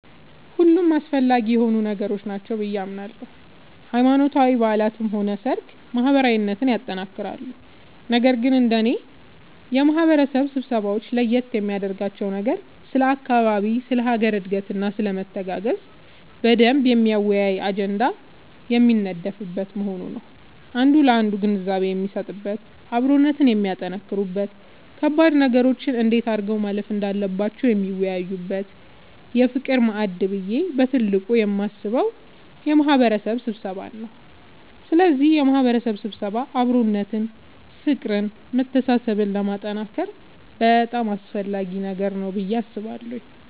ሁሉም አስፈላጊ የሆኑ ነገሮች ናቸው ብዬ አምናለሁ ሃይማኖታዊ በዓላትም ሆነ ሰርግ ማህበራዊነትን ያጠነክራሉ ነገር ግን እንደኔ የማህበረሰብ ስብሰባወች ለየት የሚያደርጋቸው ነገር ስለ አካባቢ ስለ ሀገር እድገትና ስለመተጋገዝ በደንብ የሚያወያይ አጀንዳ የሚነደፍበት መሆኑ ነዉ አንዱ ላንዱ ግንዛቤ የሚሰጥበት አብሮነትን የሚያጠነክሩበት ከባድ ነገሮችን እንዴት አድርገው ማለፍ እንዳለባቸው የሚወያዩበት የፍቅር ማዕድ ብዬ በትልቁ የማስበው የማህበረሰብ ስብሰባን ነዉ ስለዚህ የማህበረሰብ ስብሰባ አብሮነትን ፍቅርን መተሳሰብን ለማጠንከር በጣም አስፈላጊ ነገር ነዉ ብዬ አስባለሁ።